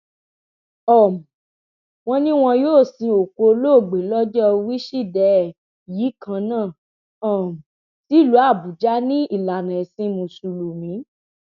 um wọn ní wọn yóò sin òkú olóògbé lọjọ wíṣídẹẹ yìí kan náà um sílùú àbújá ní ìlànà ẹsìn mùsùlùmí